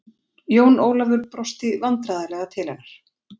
Jón Ólafur brosti vandræðalega til hennar.